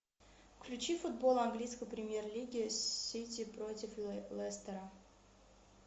включи футбол английской премьер лиги сити против лестера